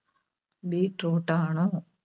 Beetroot ആണോ?